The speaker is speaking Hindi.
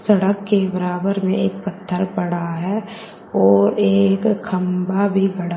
सड़क के बराबर में एक पत्थर पड़ा है और एक खंभा भी गड़ा--